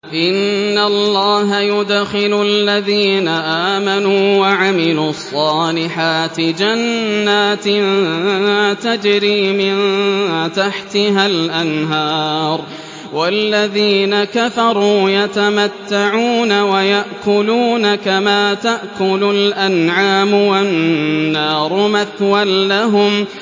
إِنَّ اللَّهَ يُدْخِلُ الَّذِينَ آمَنُوا وَعَمِلُوا الصَّالِحَاتِ جَنَّاتٍ تَجْرِي مِن تَحْتِهَا الْأَنْهَارُ ۖ وَالَّذِينَ كَفَرُوا يَتَمَتَّعُونَ وَيَأْكُلُونَ كَمَا تَأْكُلُ الْأَنْعَامُ وَالنَّارُ مَثْوًى لَّهُمْ